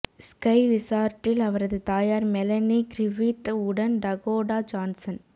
sky ரிசார்ட்டில் அவரது தாயார் மெலனி க்ரிஃபித் உடன் டகோடா ஜான்சன்